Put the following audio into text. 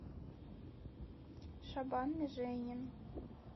шабан миженин